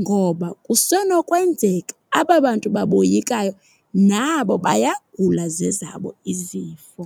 ngoba kusenokwenzeka aba bantu baboyikayo nabo bayagula zezabo izifo.